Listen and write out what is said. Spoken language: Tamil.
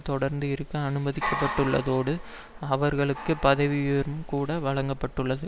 தொடர்ந்தும் இருக்க அனுமதிக்கப்பட்டுள்ளதோடு அவர்களுக்கு பதவி உயர்வும் கூட வழங்க பட்டுள்ளது